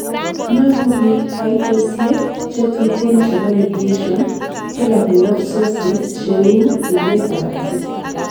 nyoru biik kaitosiek chetuten chebo radiation kila koyob sources cheu lilet ab asista